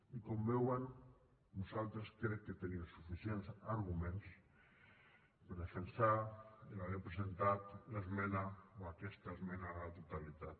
i com veuen nosaltres crec que tenim suficients arguments per defensar haver presentat l’esmena o aquesta esmena a la totalitat